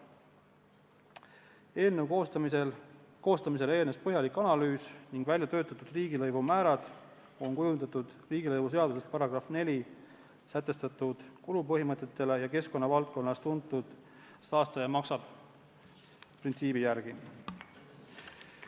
Eelnõu koostamisele eelnes põhjalik analüüs ning väljatöötatud riigilõivumäärad on kujundatud riigilõivuseaduse §-s 4 sätestatud kulupõhimõtete ja keskkonnavaldkonnas tuntud saastaja-maksab-printsiibi järgi.